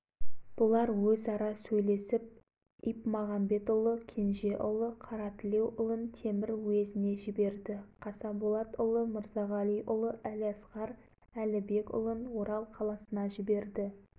партияларының атын ақжол қойды партия қара бұқараны қолдамақ болды партияның қысқаша негізін жоспарын белгіледі негіз жобасы